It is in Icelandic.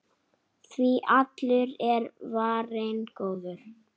Ég leit í augu henni.